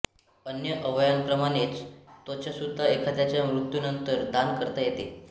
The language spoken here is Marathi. अन्य अवयवांप्रमाणेच त्वचासुद्धा एखाद्याच्या मृत्यूनंतर दान करता येते